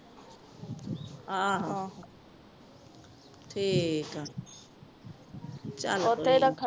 ਆਹੋ ਠੀਕ ਆ ਚਲ ਕੋਇਨਾ